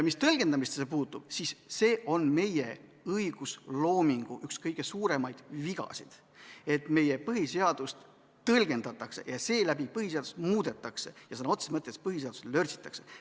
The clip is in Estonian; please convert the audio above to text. Mis tõlgendamisse puutub, siis see on meie õigusloomingu üks kõige suuremaid vigasid, et põhiseadust tõlgendatakse ja seeläbi põhiseadust muudetakse ja sõna otseses mõttes põhiseadust lörtsitakse.